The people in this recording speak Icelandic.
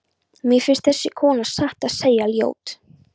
Mér finnst þessi kona satt að segja ljót.